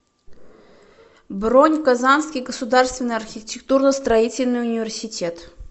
бронь казанский государственный архитектурно строительный университет